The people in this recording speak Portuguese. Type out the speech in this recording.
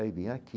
Aí, vinha aqui.